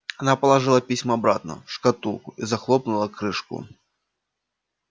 она положила письма обратно в шкатулку и захлопнула крышку